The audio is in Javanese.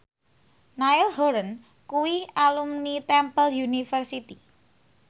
Niall Horran kuwi alumni Temple University